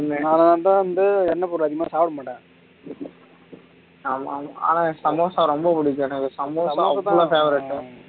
அதனால தான வந்து எண்ணெய் போட்டு அதிகமா சாப்பிடமாட்டேன் ஆனா சமோசா ரொம்ப பிடிக்கும் எனக்கு சமோசா ரொம்ப favourite